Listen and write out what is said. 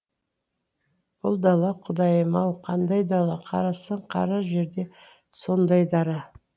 бұл дала құдайым ау қандай дала қарасаң қара жерде сондай дара